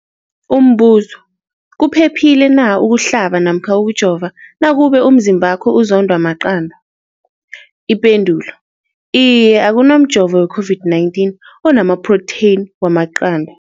Umbuzo, kuphephile na ukuhlaba namkha ukujova nakube umzimbakho uzondwa maqanda. Ipendulo, iye. Akuna mjovo we-COVID-19 onamaphrotheyini wamaqanda.